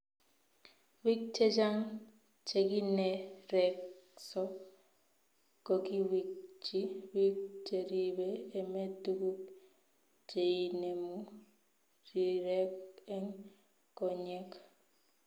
Biik chechang chekinerekso kokiwirchi biik cheribe emet tuguk cheinemu rirek eng konyek